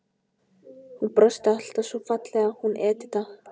Hún brosti alltaf svo fallega, hún Edita.